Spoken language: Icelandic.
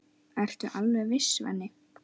Ertu alveg viss, Svenni?